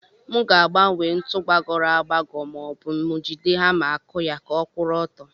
Mu ga agbanwe ntu gbagoro agbago ma obu mu jide hama aku ya ka ọkwuru ọtọ.